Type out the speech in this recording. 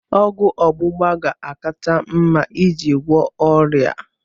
Ọgwụ ọgbụgba ga-akacha mma iji gwọọ ọrịa a